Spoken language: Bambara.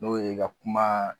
N'o ye ka kuma